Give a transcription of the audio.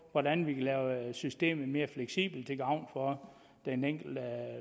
hvordan vi kunne lave systemet mere fleksibelt til gavn for den enkelte